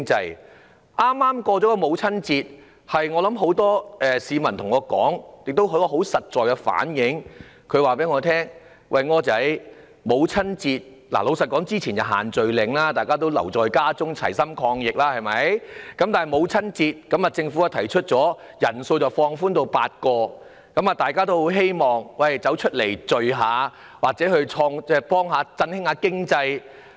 在剛過去的母親節，很多市民對我說，也很實在反映他們的心聲："柯仔"，之前實施了限聚令，大家留在家中齊心抗疫；在母親節前夕，政府提出把限聚令的人數限制放寬至8人，所以大家很希望能外出聚會，幫忙振興經濟。